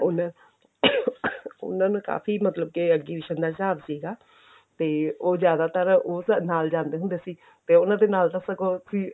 ਉਹਨਾ ਉਹਨਾ ਨੂੰ ਕਾਫੀ ਮਤਲਬ ਕੀ exhibition ਦਾ ਸਾਬ ਸੀਗਾ ਤੇ ਉਹ ਜ਼ਿਆਦਾਤਰ ਉਹ sir ਨਾਲ ਜਾਂਦੇ ਹੁੰਦੇ ਸੀ ਤੇ ਉਹਨਾਂ ਦੇ ਨਾਲ ਤਾਂ ਸਗੋਂ ਕਾਪੀ